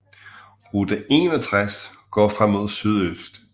Route 61 går fra mod sydøst